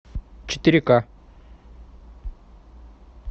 четыре ка